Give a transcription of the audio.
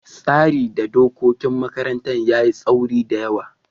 tsarin da dokokin makarantar yayi taauri da yawa.